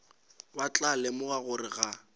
ba tla lemoga gore ga